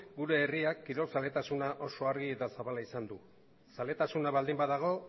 gure herriak kirol zaletasuna oso argi eta zabala izan du zaletasuna baldin badago